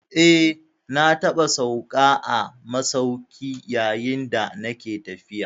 Eh, na taɓa sauka a masauki yayin da nake tafiya.